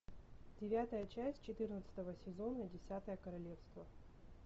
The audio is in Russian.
девятая часть четырнадцатого сезона десятое королевство